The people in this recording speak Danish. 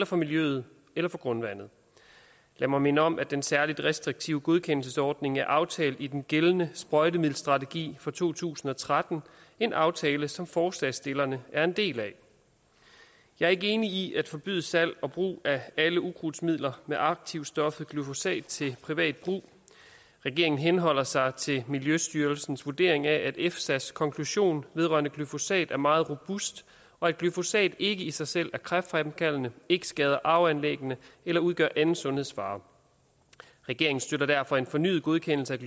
for miljøet eller for grundvandet lad mig minde om at den særlig restriktive godkendelsesordning er aftalt i den gældende sprøjtemiddelstrategi for to tusind og tretten en aftale som forslagsstillerne er en del af jeg er ikke enig i at forbyde salg og brug af alle ukrudtsmidler med aktivstoffet glyfosat til privat brug regeringen henholder sig til miljøstyrelsens vurdering af at efsas konklusion vedrørende glyfosat er meget robust og at glyfosat ikke i sig selv er kræftfremkaldende ikke skader arveanlæggene eller udgør anden sundhedsfare regeringen støtter derfor en fornyet godkendelse af